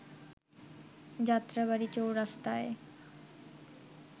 Jatrabari চৌরাস্তায়